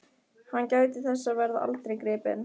Hann gæti þess að verða aldrei gripinn.